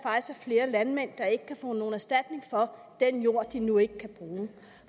flere landmænd der ikke kan få nogen erstatning for den jord de nu ikke kan bruge